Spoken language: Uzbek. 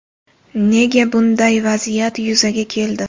Nega bunday vaziyat yuzaga keldi?